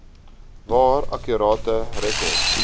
waar akkurate rekords